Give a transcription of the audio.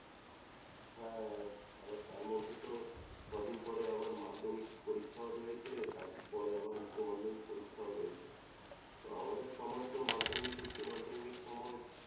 হ্যাঁ, আবার তার মধ্যে তো কদিন পরে আবার মাধ্যমিক পরীক্ষাও রয়েছে, তার পরে আবার উচ্চমাধ্যমিক পরীক্ষাও রয়েছে। আমাদের সময়ে তো মাধ্যমিক উচ্চমাধ্যমিকের সময়ে